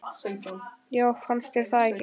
Já, fannst þér það ekki?